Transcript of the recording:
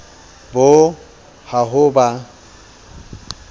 bo yo ha ho ba